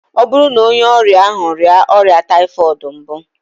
Ọ bụrụ na onye ọrịa ahụ rịa ọrịa typhoid mbụ?